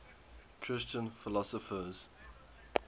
christian philosophers